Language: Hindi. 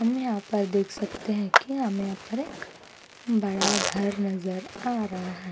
हमें यहाँ पर देख सकते है कि हमें यहाँ पर एक बड़ा घर नजर आ रहा हैं।